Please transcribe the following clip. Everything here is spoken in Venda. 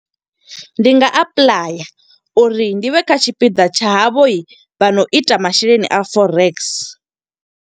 Ndi nga apuḽaya uri ndi vhe kha tshipiḓa tsha havho vhano ita masheleni a Forex.